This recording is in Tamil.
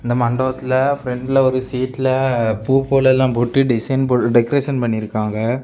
இந்த மண்டபத்துல ப்ரண்டுல ஒரு சீட்ல பூ போல எல்லாம் போட்டு டிசைன் போட்டு டெக்கரேஷன் பண்ணியிருக்காங்க.